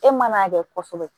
E man'a kɛ kosɛbɛ